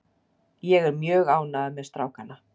Ég er mjög ánægður með strákana.